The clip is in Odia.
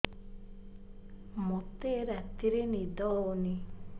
ମୋତେ ରାତିରେ ନିଦ ହେଉନି